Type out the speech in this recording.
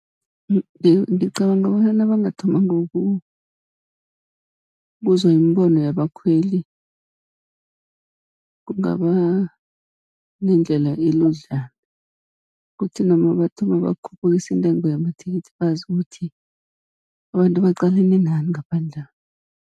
ngicabanga bona nabangathoma ngokuzwa imibono yabakhweli, kungaba nendlela eludlana kuthi noma bathoma bakhuphukisa intengo yamathikithi, bazi ukuthi abantu baqalene nani ngaphandla'.